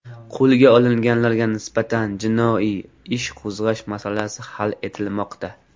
Qo‘lga olinganlarga nisbatan jinoiy ish qo‘zg‘ash masalasi hal etilmoqda.